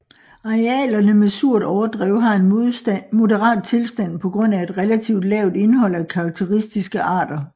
Arealerne med surt overdrev har en moderat tilstand på grund af et relativt lavt indhold af karakteristiske arter